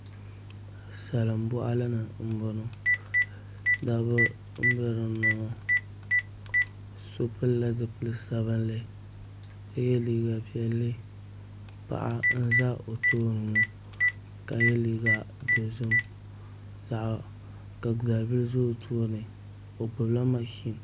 Salin boɣali ni n boŋo niraba n bɛ dinni ŋo so pilila zipili sabinli ka yɛ liiga piɛlli paɣa n ʒɛ o tooni ka yɛ liiga dozim ka dalibili ʒɛ o tooni o gbubila mashin